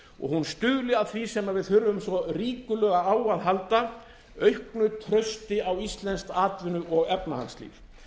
og hún stuðli að því sem við þurfum svo ríkulega á að halda auknu trausti á íslenskt atvinnu og efnahagslíf